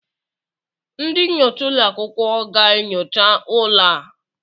Ndị nyocha ụlọ akwụkwọ ga-enyocha ụlọ a?